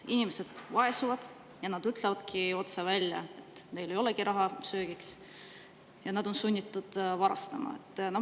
Inimesed vaesuvad ja nad ütlevad otse välja, et neil ei olegi raha söögiks, nad on sunnitud varastama.